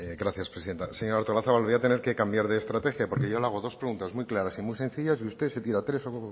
gracias presidenta señora artolazabal voy a tener que cambiar de estrategia porque yo le hado dos preguntas muy claras y muy sencillas y usted se tira tres